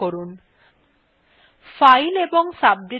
outputthe লক্ষ্য করুন